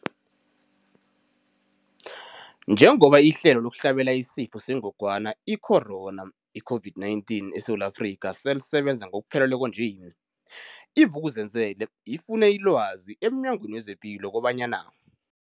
Njengoba ihlelo lokuhlabela isiFo sengogwana i-Corona, i-COVID-19, eSewula Afrika selisebenza ngokupheleleko nje, i-Vuk'uzenzele ifune ilwazi emNyangweni wezePilo kobanyana.